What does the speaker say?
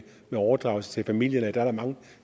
overdragelse til familie og at der er mange